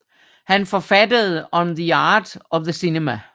Han forfattede On the Art of the Cinema